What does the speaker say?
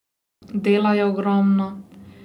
Dela je ogromno.